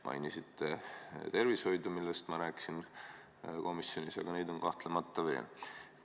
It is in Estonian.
Mainisite tervishoidu, millest ma rääkisin komisjonis, aga neid on kahtlemata veel.